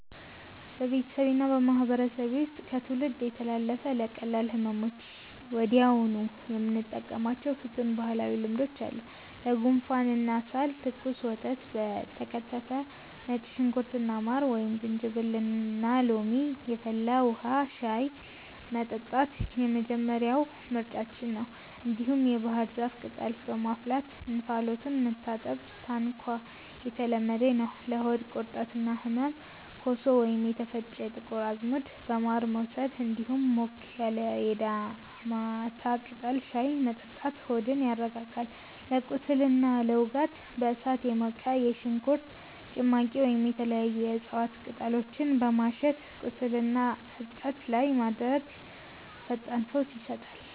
በቤተሰቤና በማህበረሰቤ ውስጥ ከትውልድ የተላለፉ፣ ለቀላል ህመሞች ወዲያውኑ የምንጠቀማቸው ፍቱን ባህላዊ ልማዶች አሉ፦ ለጉንፋንና ሳል፦ ትኩስ ወተት በከተፈ ነጭ ሽንኩርትና ማር፣ ወይም ዝንጅብልና ሎሚ የፈላ ውሃ (ሻይ) መጠጣት የመጀመሪያው ምርጫችን ነው። እንዲሁም የባህር ዛፍ ቅጠልን በማፍላት እንፋሎቱን መታጠን (ታንኳ) የተለመደ ነው። ለሆድ ቁርጠትና ህመም፦ ኮሶ ወይም የተፈጨ ጥቁር አዝሙድ በማር መውሰድ፣ እንዲሁም ሞቅ ያለ የዳሞታ ቅጠል ሻይ መጠጣት ሆድን ያረጋጋል። ለቁስልና ለውጋት፦ በእሳት የሞቀ የሽንኩርት ጭማቂ ወይም የተለያዩ የእጽዋት ቅጠሎችን በማሸት ቁስልና እብጠት ላይ ማድረግ ፈጣን ፈውስ ይሰጣል።